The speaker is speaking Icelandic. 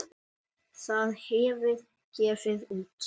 Það hefur gefið út